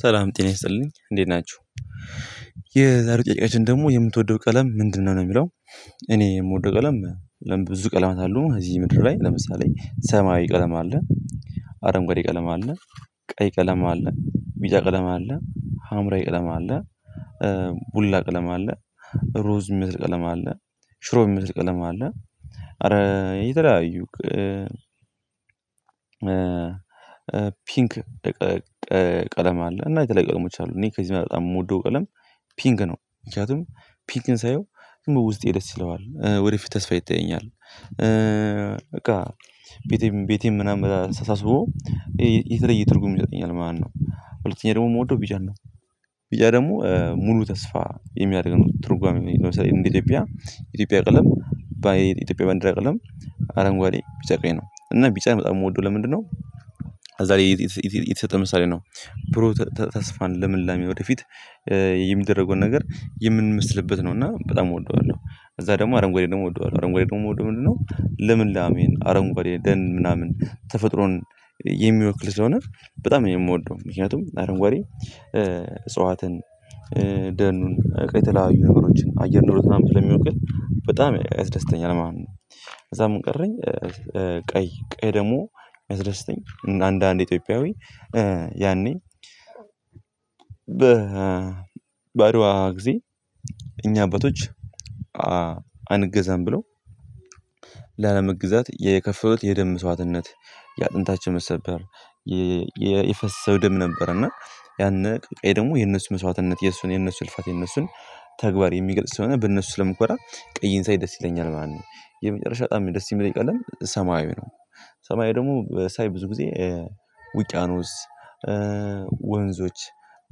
ሰላም ጤና ይስጥልኝ እንዴት ናችሁ የዛሬ ጥያቂያችን ደግሞ የምትወደው ቀለም ምንድነው ነው የሚለው? እኔ የምወደው ቀለም ለምን ብዙ ቀለማት አለው እዚህ ምድር ላይ ለምሳሌ ሰማያዊ ቀለም አለ። አረንጓዴ ቀለም አለ ቀይ ቀለም አለ ቢጫ ቀለም አለ ሀምራዊ ቀለም አለ። ቡላ ቀለም አለ ሮዝ የሚመስል ቀለም አለ ሽሮ የሚመስል ቀለም አለ። አረ የተለያዩ ፒንክ ቀለም አለ እና የተለያዩ ቀለሞች አሉ። እኔ ከዚህ በጣም የምወደው ቀለም ፒንክ ነው። ምክንያቱም ፒንክን ሳየው ግን በውስጤ ደስ ይለዋል ወደፊት ተስፋ ይታየኛል። በቃ ቤቴ ቤቴ ምናምን ሳሳስቦ ሳስበው የተለይ ትርጉም ይሰጠኛል ማለት ነው። ሁለተኛ ደግሞ የምወደው ቢጫን ነው። ቢጫ ደግሞ ሙሉ ተስፋ የሚያደርገው ትርጓሜ ነው። ለምሳሌ እንደ ኢትዮጵያ ኢትዮጵያ ቀለም በኢትዮጵያ ባንደር ቀለም አረንጓዴ ቢጫ ቀይ ነው እና ቢጫ በጣም የምወደው ለምንድነው? አዛሬ የተሰጠ ምሳሌ ነው ብሩ ተስፋን ልምላሚ ወደፊት የሚደረገውን ነገር የምንመስልበት ነው እና በጣም እወደዋለሁ። እዛ ደግሞ አረንግድ ደግሞ እወደዋለሁ አረንጓዴ ደግሞ እወደዋለሁ ምንድነው ለምን ላሜን አረንጓዴ ደን ምናምን ተፈጥሮን የሚወክል ስለሆነ በጣም የምወደው ምክንያቱም አረንጓዴ እጽዋትን ደኑን በቃ የተለያዩ ነገሮችን አየር ኖሮ ትላልቅ የሚውቀኝ በጣም ያስደስተኛል ማለት ነው። ከዛ ምን ቀረኝ? ቀይ ደግሞ ሚያስደስተኝ አንዳንድ ኢትዮጵያዊ ያኔ በአደዋ ጊዜ እኛ አባቶች አንገዛም ብለው ላለመገዛት የከፈሉት የደም መስዋትነት የአጥንታችን መሰብሰብ የፈሰሰው ደም ነበር። እና ያነ ቀይ ደግሞ የነሱ መስዋዕትነት የነሱን የነሱን እልፋት የነሱን ተግባር የሚገልጽ ስለሆነ በነሱ ስለምኮራ ቀይን ሳይ ደስ ይለኛል ማለት ነው። የመጨረሻ በጣም የደስ የሚለኝ ቀለም ሰማያዊ ነው። ሰማያዊ ደግሞ ሳይ ብዙ ጊዜ ውቂያኖስ ወንዞች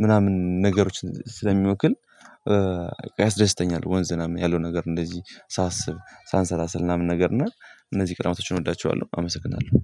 ምናምን ነገሮች ስለሚወክል ያስደስተኛል ወንዝ ምናምን ያለው ነገር እንደዚህ ሳስብ ሳሰላስል ምናምን ነገር እና እነዚህ ቀለማቶችን እወዳቸዋለሁ። አመሰግናለሁ